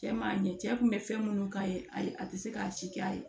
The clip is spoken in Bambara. Cɛ m'a ɲɛ cɛ kun bɛ fɛn minnu k'a ye ayi a tɛ se k'a si kɛ a ye